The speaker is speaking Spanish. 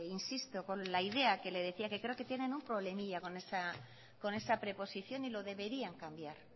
insisto con la idea que le decía que creo que tienen un problemilla con esa preposición y lo deberían cambiar